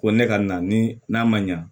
Ko ne ka na ni n'a ma ɲa